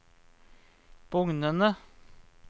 bugnende